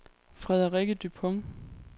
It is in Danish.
Frederikke Dupont